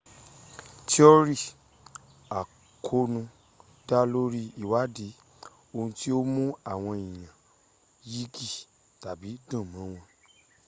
tiọ́rì àkóónú dá lórí ìwádí ohun tí ó mú àwọn èèyàn yigbì tàbí dùnmọ́ wọn